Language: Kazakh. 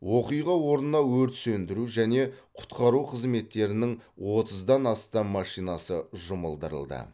оқиға орнына өрт сөндіру және құтқару қызметтерінің отыздан астам машинасы жұмылдырылды